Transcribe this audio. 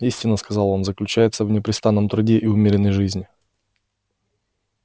истина сказал он заключается в непрестанном труде и умеренной жизни